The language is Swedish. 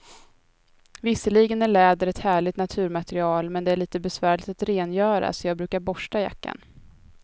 Visserligen är läder ett härligt naturmaterial, men det är lite besvärligt att rengöra, så jag brukar borsta jackan.